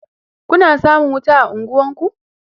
Kuna samun wuta a unguwanku?